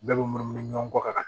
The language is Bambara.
Bɛɛ bɛ munumunu ɲɔgɔn kɔ ka